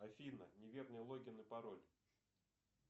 афина неверный логин и пароль